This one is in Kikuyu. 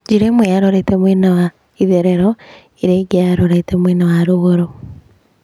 Njĩra ĩmwe yarorete mwena wa itherero, ĩrĩa ĩngĩ yarorete mwena wa rũgũrũ.